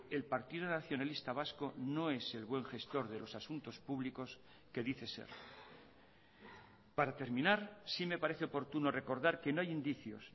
el partido nacionalista vasco no es el buen gestor de los asuntos públicos que dice ser para terminar sí me parece oportuno recordar que no hay indicios